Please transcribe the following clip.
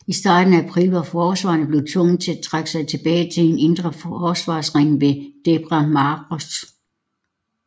I starten af april var forsvarerne blevet tvunget til at trække sig tilbage til en indre forsvarsring ved Debre Marqos